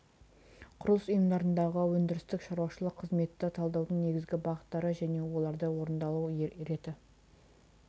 құрылыс ұйымдарындағы өндірістік шаруашылық қызметті талдаудың негізгі бағыттары және оның орындалу реті